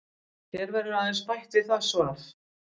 Hér verður aðeins bætt við það svar.